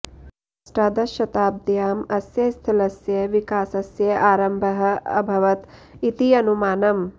अष्टादशशताब्द्याम् अस्य स्थलस्य विकासस्य आरम्भः अभवत् इति अनुमानम्